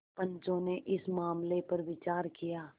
पंचो ने इस मामले पर विचार किया